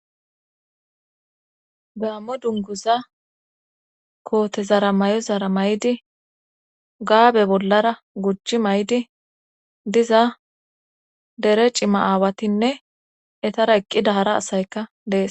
Gaammo dunguza kootezara may7o zara may7di gaabe bollara guchchi maydi diza dere cima aawatinne etara eqqida hara asayka dees.